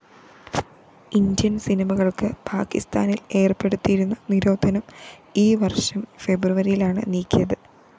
Indian‍ സിനിമകള്‍ക്ക് പാക്കിസ്ഥാനില്‍ ഏര്‍പ്പെടുത്തിയിരുന്ന നിരോധനം ഈവര്‍ഷം ഫെബ്രുവരിയിലാണ് നീക്കിയത്